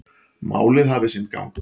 Málið hafi sinn gang.